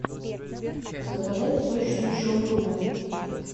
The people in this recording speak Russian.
заказать сочную шаурму